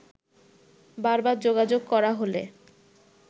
বারবার যোগাযোগ করা হলে